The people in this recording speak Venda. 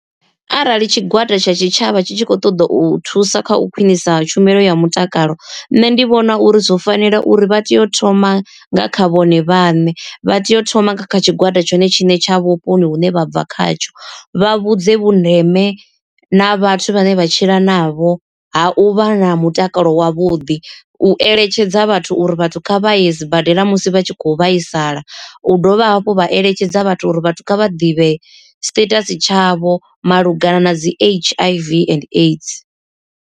Arali tshigwada tsha tshitshavha tshi tshi khou ṱoḓa u thusa kha u khwinisa tshumelo ya mutakalo, nṋe ndi vhona uri zwo fanela uri vha tea u thoma nga kha vhone vhaṋe. Vha tea u thoma kha tshigwada tshone tshiṋe tsha vhuponi hune vha bva khatsho, vha vhudze vhundeme na vhathu vhane vha tshila navho ha u vha na mutakalo wavhuḓi. U eletshedza vhathu uri vhathu kha vhaye sibadela musi vha tshi khou vhaisala, u dovha hafhu vha eletshedza vhathu uri vhathu kha vha ḓivhe status tshavho malugana na dzi H_I_V and AIDS.